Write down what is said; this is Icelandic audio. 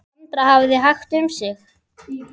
Sandra hafði hægt um sig.